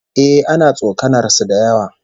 Eh, ana tsokanar su da yawa